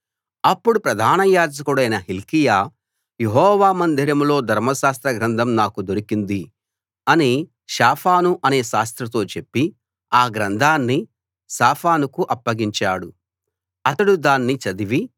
అప్పుడు ప్రధానయాజకుడైన హిల్కీయా యెహోవా మందిరంలో ధర్మశాస్త్ర గ్రంథం నాకు దొరికింది అని షాఫాను అనే శాస్త్రితో చెప్పి ఆ గ్రంథాన్ని షాఫానుకు అప్పగించాడు అతడు దాన్ని చదివి